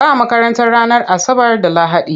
Ba a makaranta ranar Asabar da Lahadi.